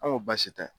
An ko baasi tɛ